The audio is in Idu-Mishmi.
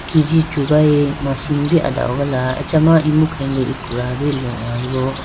Kg chugayi machine bi adahogala achama imu khenge ekruya bo lohoyibo.